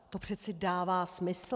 To přeci dává smysl.